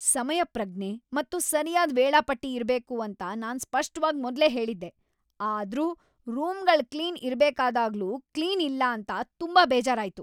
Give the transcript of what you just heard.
ಸಮಯಪ್ರಜ್ಞೆ ಮತ್ತು ಸರ್ಯಾದ್ ವೇಳಾಪಟ್ಟಿ ಇರ್ಬೇಕು ಅಂತ ನಾನು ಸ್ಪಷ್ಟವಾಗ್ ಮೊದ್ಲೇ ಹೇಳಿದ್ದೆ, ಆದ್ರೂ ರೂಮ್‌ಗಳ್ ಕ್ಲೀನ್ ಇರಬೇಕಾದಾಗ್ಲೂ ಕ್ಲೀನ್ ಇಲ್ಲ ಅಂತ ತುಂಬಾ ಬೇಜಾರಾಯ್ತು. !